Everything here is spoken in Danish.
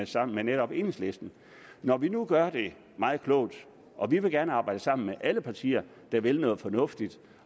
sammen med netop enhedslisten når vi nu gør det meget klogt og vi gerne vil arbejde sammen med alle partier der vil noget fornuftigt